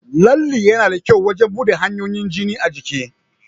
Lalle yana da kyau wajan buɗa hanyoyin jini a jiki